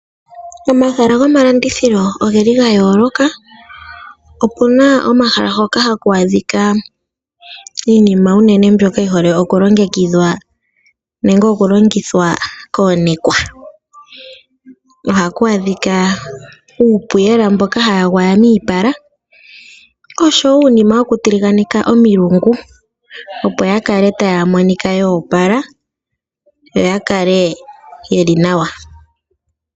Omahala goma landithilo, ogeli ga yooloka. Opuna omahala hoka ha ku adhika, iina unene mbyoka yi holike oku longithwa koonekwa. Oha ku adhika uupuyela mboka ha ya gwaya miipala, osho wo uunima wo ku tiliganeka omilungu, opo ya kale ta ya monika yoopala, yo ya kale ye li nawa.